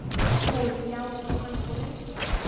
Hún: Já, og hann fór lengst út í garð.